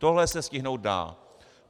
Tohle se stihnout dá.